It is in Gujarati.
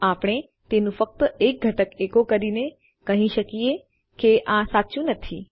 આપણે તેનું ફક્ત એક ઘટક એકો કરીને કહી શકીએ કે આ સાચું નથી